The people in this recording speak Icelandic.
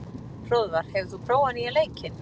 Hróðvar, hefur þú prófað nýja leikinn?